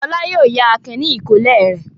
Fọlá yóò yá Akin ní ìkọ́lé rẹ̀.